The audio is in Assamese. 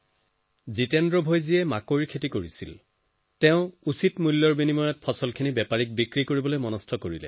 জিতেন্দ্ৰ ভায়ে মাকৈৰ খেতি কৰিছিল আৰু সঠিক দামৰ বাবে সেয়া বেপাৰীক বেচিবলৈ সিদ্ধান্ত লয়